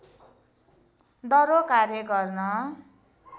दह्रो कार्य गर्न